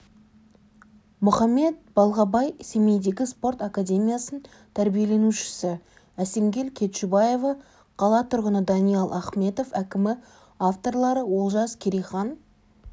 мұхаммед балғабай семейдегі спорт академиясының тәрбиеленушісі әсемгүл кетшубаева қала тұрғыны даниал ахметов әкімі авторлары олжас керейхан